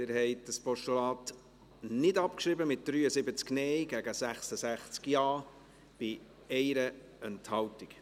Sie haben dieses Postulat nicht abgeschrieben, mit 73 Nein- gegen 66 Ja-Stimmen 1 Enthaltung.